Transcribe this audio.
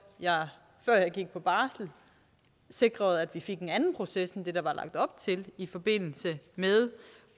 jeg før jeg gik på barsel sikrede at vi fik en anden proces end den der var lagt op til i forbindelse med